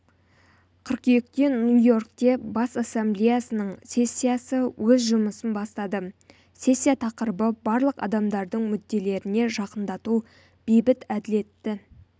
қыркүйекте нью-йоркте бас ассамблеясының сессиясы өз жұмысын бастады сессия тақырыбы барлық адамдардың мүдделеріне жақындату бейбіт әділетті